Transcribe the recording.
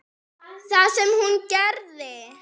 Það sem hún gerði: